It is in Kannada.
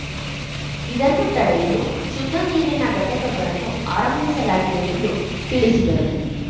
ಇದನ್ನು ತಡೆಯಲು ಶುದ್ದ ನೀರಿನ ಘಟಕಗಳನ್ನು ಆರಂಭಿಸಲಾಗಿದೆ ಎಂದು ತಿಳಿಸಿದರು